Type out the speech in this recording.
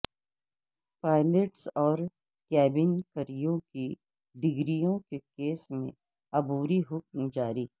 pilots اور cabin crew کی ڈگریوں کے کیس میں عبوری حکم جاری